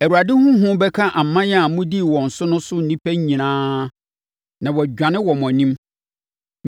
“ Awurade ho hu bɛka aman a mobɛdi wɔn so no so nnipa nyinaa na wɔadwane wɔ mo anim.